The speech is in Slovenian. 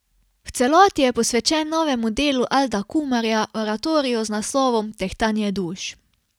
V celoti je posvečen novemu delu Alda Kumarja, oratoriju z naslovom Tehtanje duš.